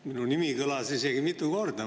Minu nimi kõlas isegi mitu korda.